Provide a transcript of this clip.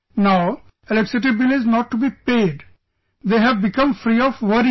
No electricity bill is not to be paid, they have become free of worries